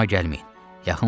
Yanıma gəlməyin.